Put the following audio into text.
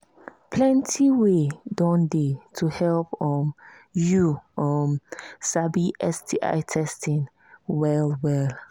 plenty way don they to help um you um sabi sti testing well well